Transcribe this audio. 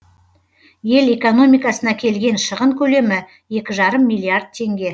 ел экономикасына келген шығын көлемі екі жарым миллиард теңге